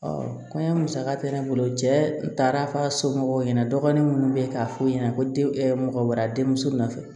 kɔɲɔ musaka tɛ ne bolo cɛ f'a somɔgɔw ɲɛna dɔgɔnin minnu bɛ yen k'a fɔ ɲɛna ko den mɔgɔ wɛrɛ denmuso nɔfɛ